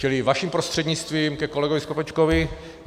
Čili vaším prostřednictvím ke kolegovi Skopečkovi.